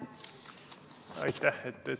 Aitäh!